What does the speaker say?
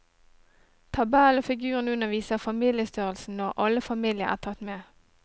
Tabellen og figuren under viser familiestørrelsen når alle familier er tatt med.